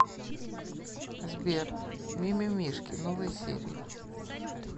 сбер ми ми мишки новые серии